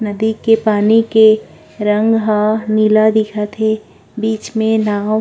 नदी के पानी के रंग ह नीला दिखत हे बीच में नाओ--